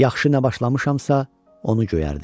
Yaxşı nə başlamışamsa onu göyərdin.